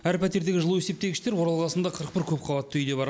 әр пәтердегі жылу есептегіштер орал қаласында қырық бір көпқабатты үйде бар